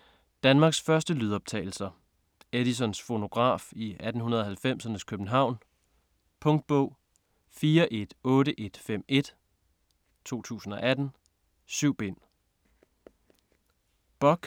Danmarks første lydoptagelser: Edisons fonograf i 1890'ernes København Punktbog 418151 2018. 7 bind.